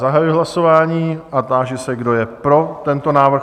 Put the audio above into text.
Zahajuji hlasování a táži se, kdo je pro tento návrh?